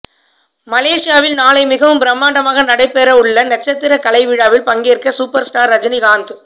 மலேசியாவில் நாளை மிகவும் பிரமாண்டமாக நடைபெற உள்ள நட்சத்திரக் கலை விழாவில் பங்கேற்க சூப்பர் ஸ்டார் ரஜினிகாந்த்